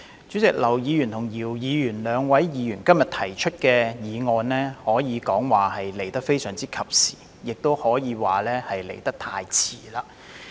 主席，兩位議員今天提出議案和修正案，可說是非常及時，也可說是太遲。